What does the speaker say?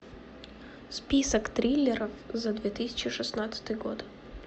список триллеров за две тысячи шестнадцатый год